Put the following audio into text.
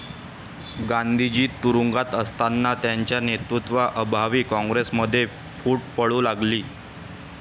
गांधीजी तुरूंगात असतांना त्यांचा नेतृत्वा अभावी काँग्रेसमध्ये फूट पडू लागली